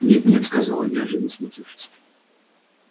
нет-нет сказал я неожиданно смутившись